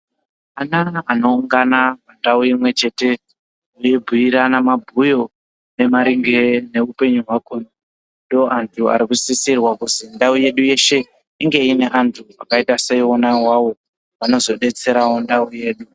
Ana anoungana pandau imwe chete eibhuirana mabwuyo nemaringe eupenyu hwako, ndoandu Ari kusisirwa kuzi ndau yedu yese inge ine vandu vakaita seiwawo vanozodetsera ndau yedu.